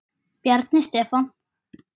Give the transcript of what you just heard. Bjarni Stefán.